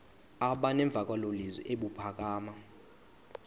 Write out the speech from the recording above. aba nemvakalozwi ebuphakama